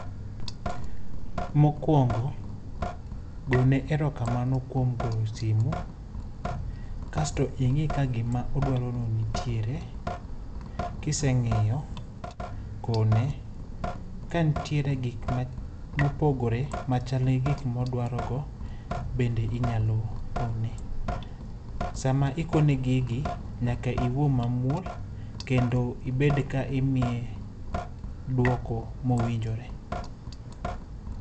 Mokuongo, gone erokamano kuom goyo simu. Kasto ing'i ka gima odwaro no nitiere. Kiseng'iyo, kone. Ka nitiere gik mopogore ma chal gi gik modwaro go, bende inyalo kone. Sama ikone gigi, nyaka iwuo mamuol, kendo ibed ka imiye duoko mowinjore.